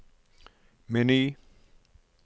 meny